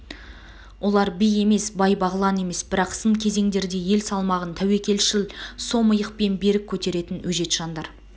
олар би емес бай-бағлан емес бірақ сын кезеңдерде ел салмағын тәуекелшіл сом иықпен берік көтеретін өжет жандар